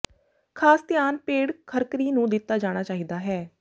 ਖਾਸ ਧਿਆਨ ਪੇਡ ਖਰਕਿਰੀ ਨੂੰ ਦਿੱਤਾ ਜਾਣਾ ਚਾਹੀਦਾ ਹੈ